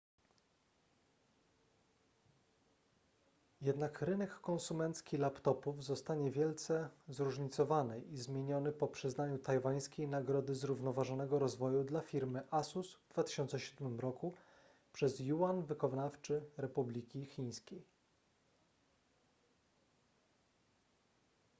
jednak rynek konsumencki laptopów zostanie wielce zróżnicowany i zmieniony po przyznaniu tajwańskiej nagrody zrównoważonego rozwoju dla firmy asus w 2007 roku przez yuan wykonawczy republiki chińskiej